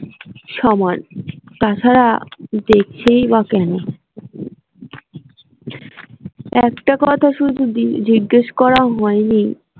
সমান তাছাড়া দেখছেই বা কেনো একটা কথা শুধু জিজ্ঞেস করা হয়নি